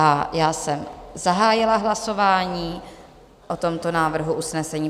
A já jsem zahájila hlasování o tomto návrhu usnesení.